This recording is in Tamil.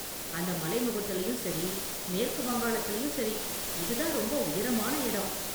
அந்த மலைமுகட்டுலயும் சரி, மேற்கு வங்காளத்திலயும் சரி, இதுதான் ரொம்ப உயரமான இடம்.